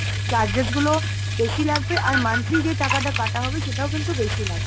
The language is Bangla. charges গুলো বেশি লাগবে আর monthly যে টাকাটা কাটা হবে সেটাও কিন্তু বেশি লাগবে।